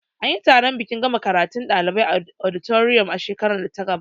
Anyi taron bikin gama karatun ɗalibai a auditorium a shekarar da ta gabata